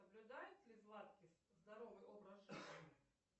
соблюдает ли златкис здоровый образ жизни